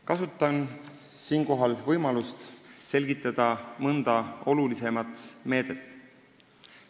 Kasutan siinkohal võimalust selgitada mõnda olulisemat meedet.